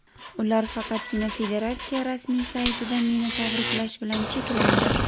Ular faqatgina federatsiya rasmiy saytida meni tabriklash bilan cheklandi.